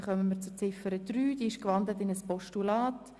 Wir kommen zu Ziffer 3 als Postulat.